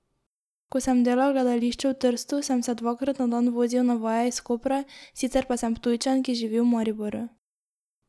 Ko sem delal v gledališču v Trstu, sem se dvakrat na dan vozil na vaje iz Kopra, sicer pa sem Ptujčan, ki živi v Mariboru.